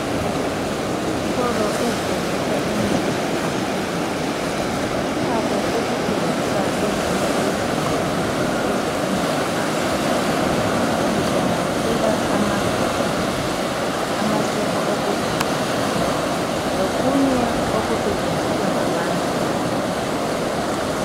Izitolo ezithengisa imithi lamaphilisi zilakho ukuthengisa ezinye izinto ezifunwa ngabantu ezihlanganisela amafutha, amasepa okugeza lokunye okufunwa ngabantu.